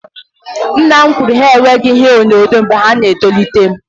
Nna m kwụrụ na ha enweghị ihe onyonyo mgbe ọ na etolite